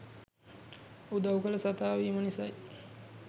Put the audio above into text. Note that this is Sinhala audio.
උදවු කල සතා වීම නිසයි.